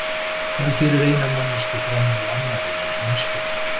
Hvað gerir eina manneskju fremri annarri í heimspeki?